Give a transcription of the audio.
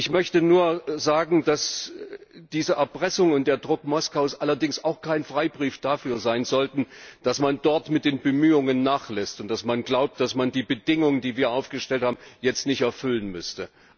Ich möchte nur sagen, dass diese Erpressung und der Druck Moskaus allerdings auch kein Freibrief dafür sein sollten, dass man dort mit den Bemühungen nachlässt und dass man glaubt, dass man die Bedingungen, die wir aufgestellt haben, jetzt nicht erfüllen müsste.